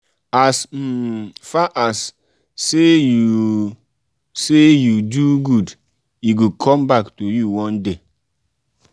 as um far as um say you say you do good e go come um back to you one day.